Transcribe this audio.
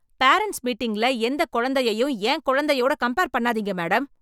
Parents மீட்டிங்ல எந்த குழந்தையும், என் குழந்தையோடு கம்பேர் பண்ணாதீங்க மேடம்.